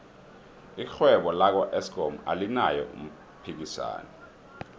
irhwebo laka eskom alinaye umphikisani